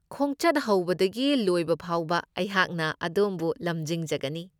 ꯈꯣꯡꯆꯠ ꯍꯧꯕꯗꯒꯤ ꯂꯣꯏꯕ ꯐꯥꯎꯕ ꯑꯩꯍꯥꯛꯅ ꯑꯗꯣꯝꯕꯨ ꯂꯝꯖꯤꯡꯖꯒꯅꯤ꯫